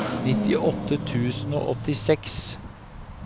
nittiåtte tusen og åttiseks